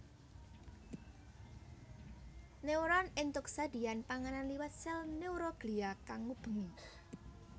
Neuron éntuk sedhiyan panganan liwat sèl neuroglia kang ngubengi